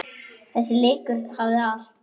Þessi leikur hafði allt.